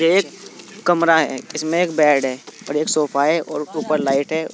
एक कमरा है इसमें एक बेड है और एक सोफा है और ऊपर लाइट है।